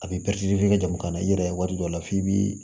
A bɛ i ka bu kan na i yɛrɛ ye waati dɔ la f'i bi